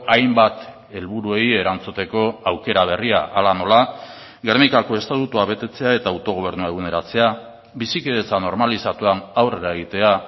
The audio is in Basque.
hainbat helburuei erantzuteko aukera berria hala nola gernikako estatutua betetzea eta autogobernua eguneratzea bizikidetza normalizatuan aurrera egitea